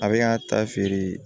A bɛ ka ta feere